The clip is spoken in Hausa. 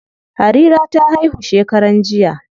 Harira ta haihu shekaran jiya.